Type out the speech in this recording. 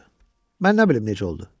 Mən nə bilim necə oldu?